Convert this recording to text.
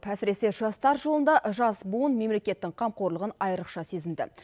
әсіресе жастар жылында жас буын мемлекеттің қамқорлығын айрықша сезінді